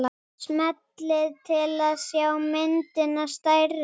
Smellið til að sjá myndina stærri.